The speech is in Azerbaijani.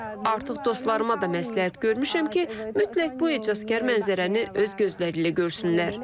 Artıq dostlarıma da məsləhət görmüşəm ki, mütləq bu ecazkar mənzərəni öz gözləri ilə görsünlər.